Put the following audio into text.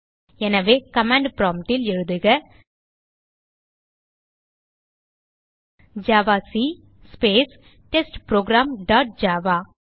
எனவே command prompt ல் எழுதுக javac space test program dot Java